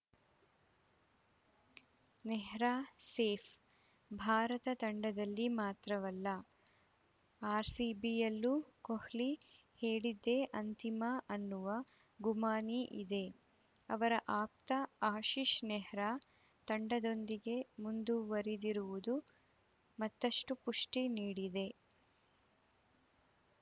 Nehra safe Bharat ತಂಡದಲ್ಲಿ ಮಾತ್ರವಲ್ಲ ಆರ್‌ಸಿಬಿಯಲ್ಲೂ ಕೊಹ್ಲಿ ಹೇಳಿದ್ದೇ ಅಂತಿಮ ಅನ್ನುವ ಗುಮಾನಿ ಇದೆ ಅವರ ಆಪ್ತ ಆಶಿಶ್‌ ನೆಹ್ರಾ ತಂಡದೊಂದಿಗೆ ಮುಂದುವರಿದಿರುವುದು ಮತ್ತಷ್ಟುಪುಷ್ಠಿ ನೀಡಿದೆ